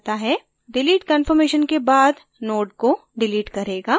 delete confirmation के बाद node को डिलीट करेगा